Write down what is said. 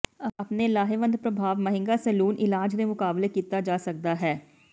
ਆਪਣੇ ਲਾਹੇਵੰਦ ਪ੍ਰਭਾਵ ਮਹਿੰਗਾ ਸੈਲੂਨ ਇਲਾਜ ਦੇ ਮੁਕਾਬਲੇ ਕੀਤਾ ਜਾ ਸਕਦਾ ਹੈ